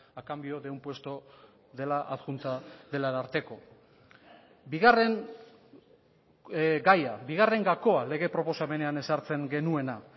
a cambio de un puesto de la adjunta del ararteko bigarren gaia bigarren gakoa lege proposamenean ezartzen genuena